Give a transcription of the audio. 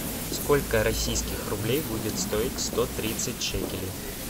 сколько российских рублей будет стоить сто тридцать шекелей